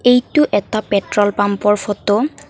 এইটো এটা পেট্ৰল পাম্পৰ ফটো ।